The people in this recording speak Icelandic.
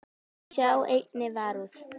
Sjá einnig Varúð.